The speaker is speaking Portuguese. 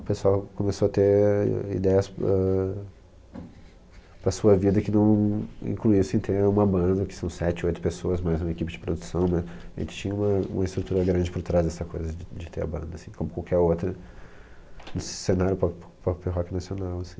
O pessoal começou a ter ideias para, para sua vida que não incluíssem ter uma banda, que são sete, oito pessoas mais uma equipe de produção, mas a gente tinha uma uma estrutura grande por trás dessa coisa de de ter a banda, assim, como qualquer outra nesse cenário pop rock nacional, assim.